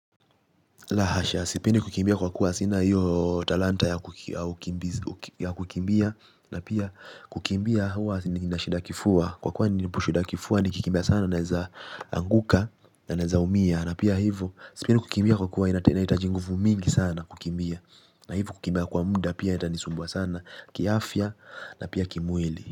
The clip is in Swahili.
La hasha, sipendi kukimbia kwa kuwa sina hiyo talanta ya kukimbia. Na pia kukimbia huwa nina shida ya kifua. Kwa kuwa nina shida ya kifua nikikimbia sana naweza anguka na nawezaumia. Na pia hivo, sipendi kukimbia kwa kuwa inahitaji nguvu mingi sana kukimbia. Na hivyo kukimbia kwa muda pia itanisumbua sana. Kiafya na pia kimwili.